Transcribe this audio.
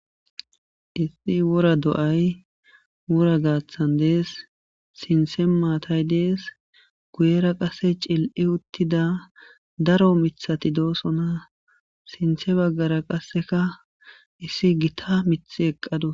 Issi wora do'ay wora gaaththan dees sinthe maatay dees guyera qasse cil'i uttida daro mithati doosona sinthe baggara qasseka issi gita mith eqqadu